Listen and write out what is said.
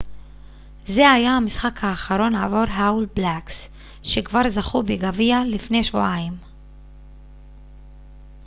זה היה המשחק האחרון עבור האול בלאקס שכבר זכו בגביע לפני שבועיים